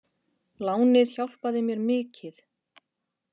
Lánið hjálpaði mér mikið.